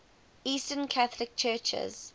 eastern catholic churches